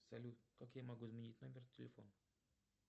салют как я могу изменить номер телефона